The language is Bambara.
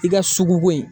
I ka sugu bɔ yen